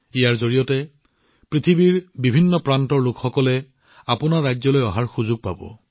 এই সময়ছোৱাত পৃথিৱীৰ বিভিন্ন প্ৰান্তৰ লোকসকলে আপোনালোকৰ ৰাজ্য ভ্ৰমণ কৰাৰ সুযোগ পাব